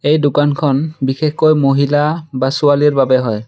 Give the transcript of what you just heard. এই দোকানখন বিশেষকৈ মহিলা বা ছোৱালীৰ বাবে হয়।